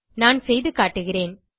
நான் செய்துகாட்டுகிறேன்